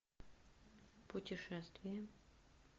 путешествие